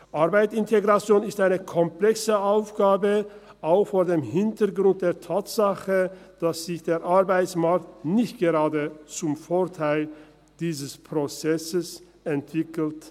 Arbeitsintegration ist eine komplexe Aufgabe, auch vor dem Hintergrund der Tatsache, dass sich der Arbeitsmarkt nicht gerade zum Vorteil dieses Prozesses entwickelt.